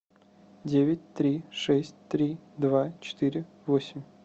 девять три шесть три два четыре восемь